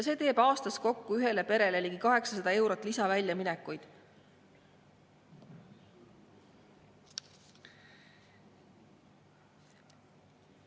See teeb aastas kokku ühele perele ligi 800 eurot lisaväljaminekut.